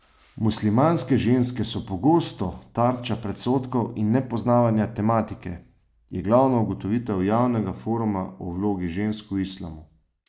Muslimanske ženske so pogosto tarče predsodkov in nepoznavanja tematike, je glavna ugotovitev javnega foruma o vlogi žensk v islamu.